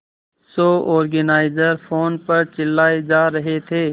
show organiser phone पर चिल्लाए जा रहे थे